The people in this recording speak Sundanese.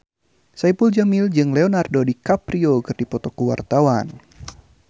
Saipul Jamil jeung Leonardo DiCaprio keur dipoto ku wartawan